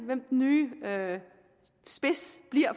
hvem den nye spids